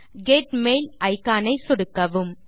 get mail icon ஐ சொடுக்கவும்